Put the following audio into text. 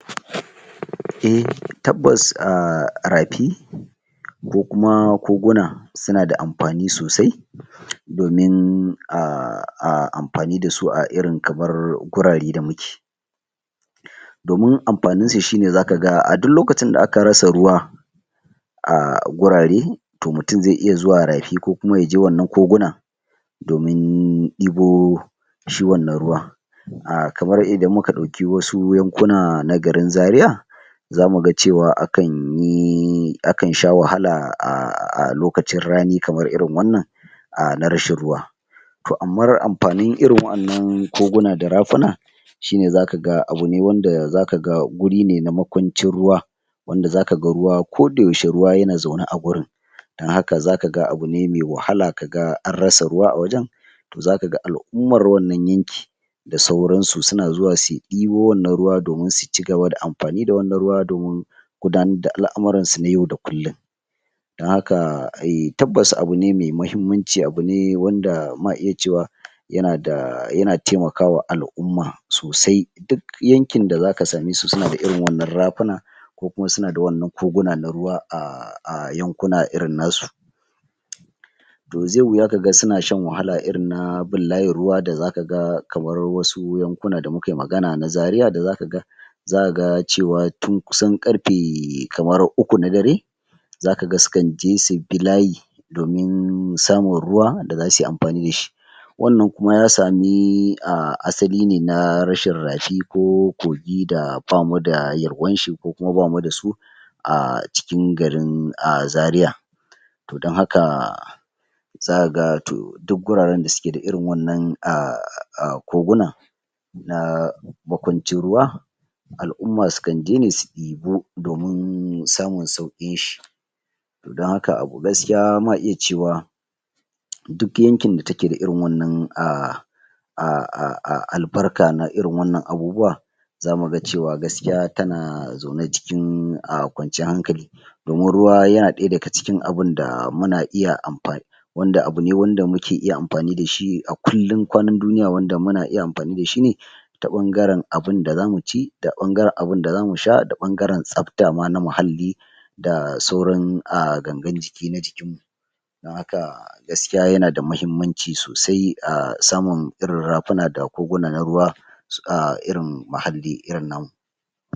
Eh tabbas ah, rafi ko kuma koguna suna da amfani sosai domin ah, ah amfani da su a irin kamar gurare da muke domin amfanin su shi ne zaka ga a duk lokacin da aka rasa ruwa ah gurare to mutun zai iya zuwa rafi ko kuma yaje wannan koguna domin ɗibo shi wannan ruwa ah, kamar idan muka ɗauki wasu yankuna na garin zaria zamu ga cewa akan yi, akan sha wahala a lokacin rani kamar irin wannan ah na rashin ruwa to amma amfanin irin waƴannan koguna da rafuna shi ne zaka ga abu ne wanda zaka ga guri ne na makwancin ruwa wanda zaka ga ruwa kodayaushe ruwa yana zaune a gurin dan haka zaka ga abu ne me wahala kaga an rasa ruwa a wajen zaka ga al'ummar wannan yanki da sauran su suna zuwa suyi ɗibo wannan ruwa domin su cigaba da amfani da wannan ruwa domin gudanar da al'amurran su na yau da kullun dan haka eh, tabbas abu ne me mahimmanci, abu ne wanda ma iya cewa yana da yana taimakawa al'umma sosai duk yankin da zaka same su, suna da irin wannan rafuna ko kuma suna da wannan koguna na ruwa ah, ah yankuna irin na su to ze wuya kaga suna shan wahala irin na bin layin ruwa da zaka ga kamar wasu yankuna da mukai magana na zaria da zaka ga zaka ga cewa tun kusan ƙarfe kamar uku na dare zaka ga su kan je su bi layi domin samun ruwa da zasu yi amfani da shi wannan kuma ya sami ah, asali ne na rashin rafi ko kogi da bamu da yalwan shi ko kuma bamu da su ah, cikin garin ah, Zaria to don haka zaka ga to duk guraren da suke da irin wannan ah, ah, koguna na makwancin ruwa al'umma su kan je ne su ɗibo domin samun sauƙin shi to dan haka gaskiya ma iya cewa to duk yankin da take da irin wannan ah, ah, ah, ah, ah, albarka na irin wannan abubuwa zamu ga cewa gaskiya tana zaune cikin kwanciyan hankali domin ruwa yana ɗaya daga cikin abin da muna iya amfani wanda abu ne wanda muke iya amfani da shi a kullun kwanan duniya wanda muna iya amfani da shi ne ta ɓangaren abun da zamu ci da ɓangaren abunda zamu sha, da ɓangaren tsabta ma na muhalli da sauran ah, gangan jiki na jikin mu dan haka gaskiya yana da mahimmanci sosai samun irin rafuna da koguna na ruwa ah, irin mahalli irin na mu.